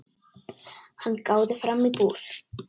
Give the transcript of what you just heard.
Hann gáði fram í búð.